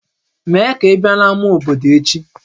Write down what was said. Mee ka ị bịa n'ámá obodo echi!